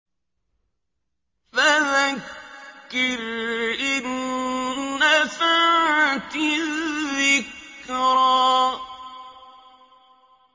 فَذَكِّرْ إِن نَّفَعَتِ الذِّكْرَىٰ